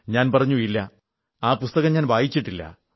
ഞാൻ പറഞ്ഞു ഇല്ല ആ പുസ്തകം ഞാൻ വായിച്ചിട്ടില്ല